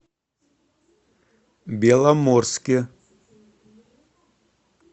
беломорске